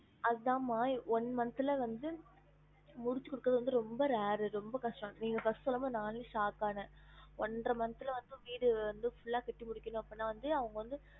அதான் மா one month ல வந்து முடிச்சிக் குடுக்குறது வந்து ரொம்ப rare ரொம்ப கஷ்டம் நீங்க first சொல்லும் போது நானே shock ஆனேன் ஒன்ற month ல வந்து வீடு வந்து full ஆ கட்டி முடிக்கணும் அப்டினா வந்து அவங்க வந்து